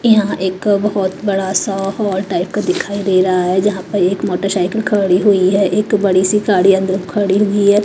यहां एक बहुत बड़ा सा हॉल टाइप का दिखाई दे रहा है जहां पर एक मोटरसाइकिल खड़ी हुई है एक बड़ी सी गाड़ी अंदर खड़ी हुई है।